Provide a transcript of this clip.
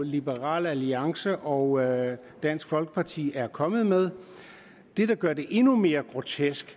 liberal alliance og dansk folkeparti er kommet med det der gør det endnu mere grotesk